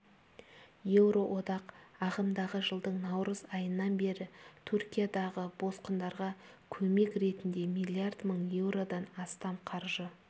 еуроодақ ағымдағы жылдың наурыз айынан бері түркиядағы босқындарға көмек ретінде млрд мың еуродан астам қаржы